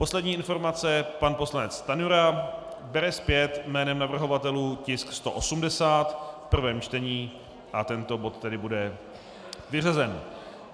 Poslední informace - pan poslanec Stanjura bere zpět jménem navrhovatelů tisk 180 v prvém čtení a tento bod tedy bude vyřazen.